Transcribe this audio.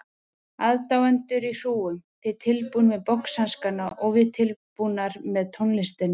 Aðdáendur í hrúgum, þið tilbúnir með boxhanskana og við tilbúnar með tónlistina.